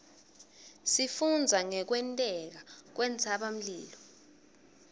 sifundza ngekwenteka kwentsabamlilo